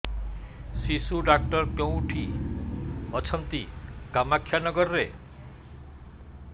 ଶିଶୁ ଡକ୍ଟର କୋଉଠି ଅଛନ୍ତି କାମାକ୍ଷାନଗରରେ